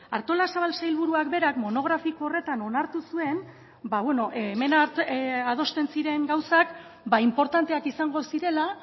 artolazabal sailburuak berak monografiko horretan onartu zuen hemen adosten ziren gauzak inportanteak izango zirela